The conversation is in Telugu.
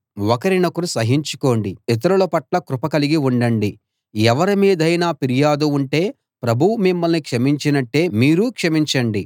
ఒకరినొకరు సహించుకోండి ఇతరుల పట్ల కృప కలిగి ఉండండి ఎవరి మీదైనా ఫిర్యాదు ఉంటే ప్రభువు మిమ్మల్ని క్షమించినట్టే మీరూ క్షమించండి